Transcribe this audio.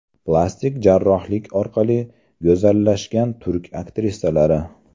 Plastik jarrohlik orqali go‘zallashgan turk aktrisalari .